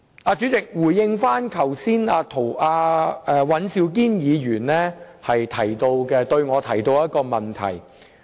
我現在回應尹兆堅議員剛才向我提出的問題。